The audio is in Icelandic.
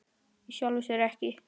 Í sjálfu sér ekki.